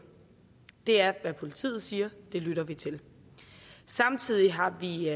det er hvad politiet siger og det lytter vi til samtidig har vi i